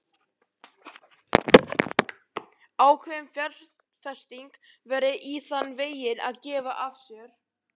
Ákveðin fjárfesting væri í þann veginn að gefa af sér.